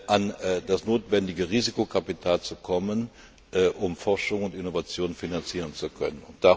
an das notwendige Risikokapital zu kommen, um Forschung und Innovation finanzieren zu können.